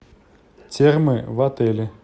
термы в отеле